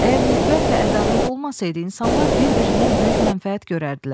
Əgər nifrət və ədavət olmasaydı, insanlar bir-birindən böyük mənfəət görərdilər.